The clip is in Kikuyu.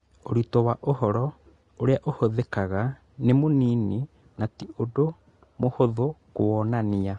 Ũritũ wa ũhoro ũrĩa ũhũthĩkaga nĩ mũnini na ti ũndũ mũhũthũ kũwonania